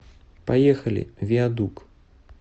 поехали виадук